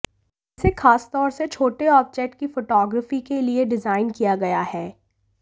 इसे खासतौर से छोटे ऑब्जेक्ट की फोटोग्राफी के लिए डिजाइन किया गया है